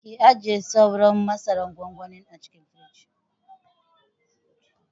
Ki ajiye sauran masaran gwangwanin a cikin firij.